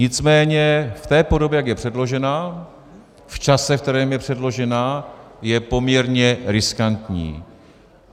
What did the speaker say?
Nicméně v té podobě, jak je předložena, v čase, ve kterém je předložena, je poměrně riskantní.